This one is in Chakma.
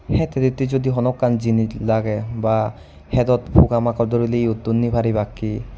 het hitetti judi honoekkan jinis lagey ba hedot poka moka duriley yottun ni paribakki.